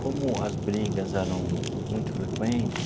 Como as brigas eram muito frequentes,